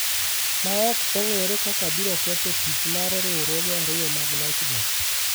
ma ok ong’ere kaka biro ketho tich mar riwruoge ariyo mag loch go.